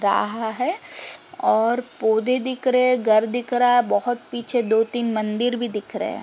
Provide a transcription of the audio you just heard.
रहा है और पौधे दिख रहें घर दिख रहा बहोत पीछे दो तीन मंदिर भी दिख रहें।